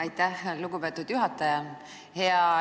Aitäh, lugupeetud juhataja!